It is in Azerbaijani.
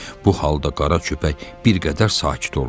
Bu halda qara köpək bir qədər sakit olmuşdu.